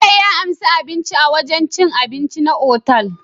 Bello ya anshi abinci a wajan cin abinci na otal